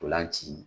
Ntolan ci